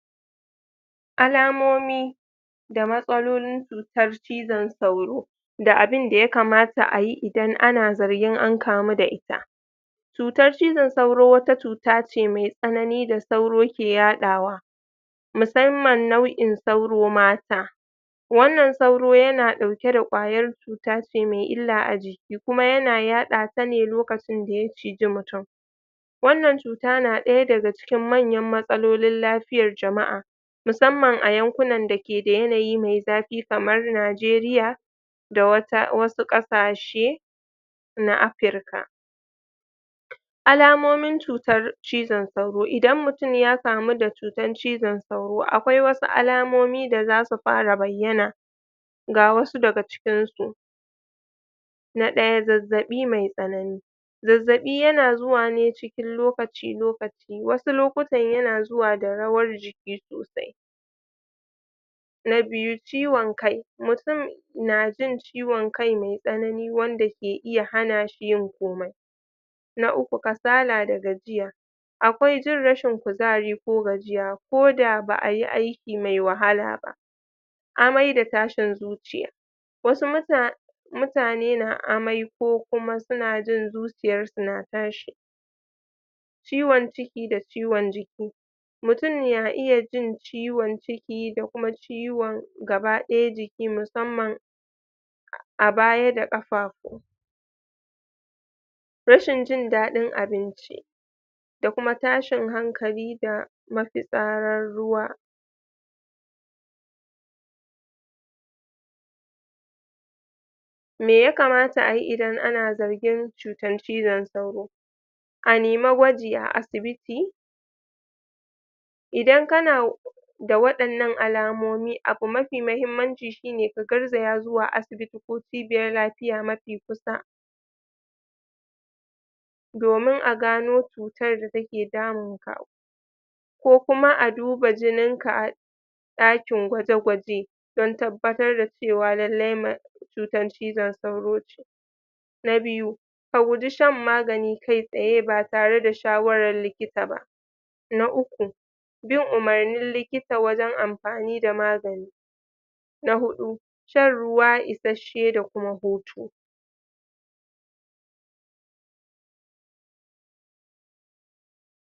alamomi da matsalolin cutar cizon sauro da abinda ya kamata ayi idan ana zargin an kamu da ita cutar cizon sauro wata cuta ne ce me tsanani da sauro ke yadawa musamman nau'in sauro mata wannnan sauro yana dauke da kwayan cuta ce me illa a jiki kuma ya na yadata ne lokacin da ya cije mutum wannan cuta na daya daga cikin manyan matsalolin lafiyan jama'a musamman a yankunan da ke da yanayi me zafi kamar nijeriya da wata wasu kasashe na africa alamomin cutan cizon sauro idan mutum ya samu da cutan cizon sauro akwai wasu alamomi da zasu fara bayyana ga wasu daga cikinsu na daya zazzabi me tsanani zazzabi yana zuwa ne cikin lokaci lokaci wasu lukutan yana zuwa da rawan jiki sosai na biyu ciwon kai mutum na jin ciwon kai me tsanani wanda ke iya hanashi yin komai na uku kasala da gajiya akwai jin rashin kuzari ko gajiya ko da baayi aiki me wahala ba amai da tashin zuciya wasu mutane mutane na amai ko kuma suna jin zuciyarsu na tashi ciwon ciki da ciwon jiki mutum na iya jin ciwon ciki da kuma ciwon gaba daya jiki musamman a baya da kafafu rashin jin dadin abinci da kuma tashin hankali da mafitsarar ruwa me ya kamata ayi idan ana zargin cutan cizon sauro a nemi gwaji a asibiti idan kana da wadannan alamomi abu mafi mahimmanci shine ka garjaya zuwa asibiti ko cibiyar lafiya mafi kusa domin a gano cutar da take damunka ko kuma a duba jinin ka dakin gwaje gwaje don tabbatar da cewa lallai ma cutan cizon sauro na biyu ka guji shan magani kai tsaye ba tare da shawaran likita ba na uku bin umurnin likita wajen amfani da magani na hudu shan ruwa isasshe da kuma hutu